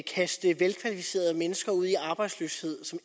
kaste velkvalificerede mennesker ud i arbejdsløshed som